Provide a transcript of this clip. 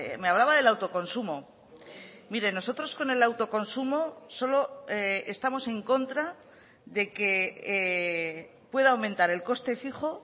me hablaba del autoconsumo mire nosotros con el autoconsumo solo estamos en contra de que pueda aumentar el coste fijo